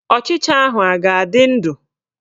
Ọchịcha ahụ a ga-adị ndụ?